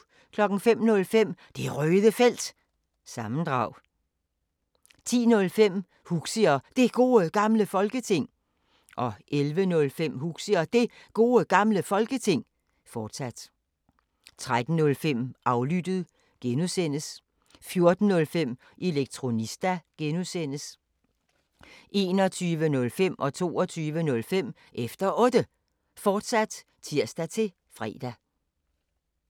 05:05: Det Røde Felt – sammendrag 10:05: Huxi og Det Gode Gamle Folketing 11:05: Huxi og Det Gode Gamle Folketing, fortsat 13:05: Aflyttet (G) 14:05: Elektronista (G) 21:05: Efter Otte, fortsat (tir-fre) 22:05: Efter Otte, fortsat (tir-fre)